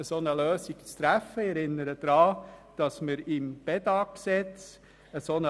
Ich erinnere an das Gesetz über die Aktiengesellschaft Bedag Informatik (Bedag-Gesetz, BIG).